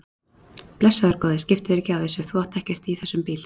Blessaður góði, skiptu þér ekki af þessu, þú átt ekkert í þessum bíl.